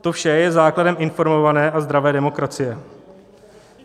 To vše je základem informované a zdravé demokracie.